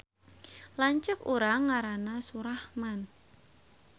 Lanceuk urang ngaranna Surahman